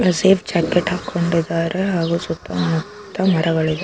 ಇಲ್ಲಿ safe jacket ಹಾಕಿಕೊಂಡಿದ್ದಾರೆ ಹಾಗು ಸುತ್ತ ಮುತ್ತ ಮರಗಳಿವೆ.